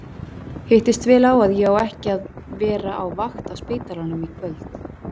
Hittist vel á að ég á ekki að vera á vakt á spítalanum í kvöld!